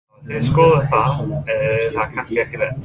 Hafið þið skoðað það eða er það kannski ekki rétt?